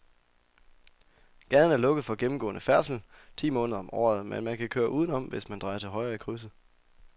Gaden er lukket for gennemgående færdsel ti måneder om året, men man kan køre udenom, hvis man drejer til højre i krydset.